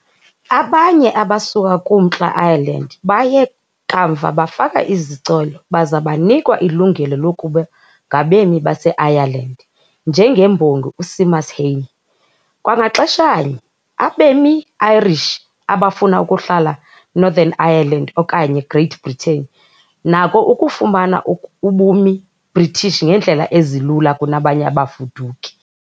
Abanye abasuka kuMntla Ireland baye kamva bafaka izicelo baza banikwa ilungelo lokuba ngabemi baseIreland, njengembongi uSéamus Heaney, kwangaxeshanye, abemi Irish abafuna ukuhlala Northern Ireland okanye Great Britain nako ukufumana ubumi British ngeendlela ezilula kunabanye abafuduki.